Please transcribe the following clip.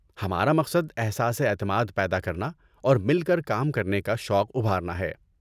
ہمارا مقصد احساسِ اعتماد پیدا کرنا اور مل کر کام کرنے کا شوق ابھارنا ہے۔